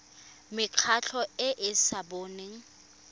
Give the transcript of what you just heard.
mekgatlho e e sa boneng